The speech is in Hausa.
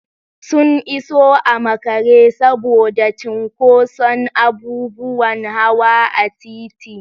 Sun iso a makare saboda cinƙoson abubuwan hawa a titi.